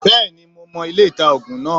Bẹ́ẹ̀ni mo mo ilé-ita -ògùn náà